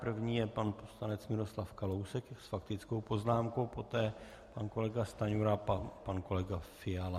První je pan poslanec Miroslav Kalousek s faktickou poznámkou, poté pan kolega Stanjura a pan kolega Fiala.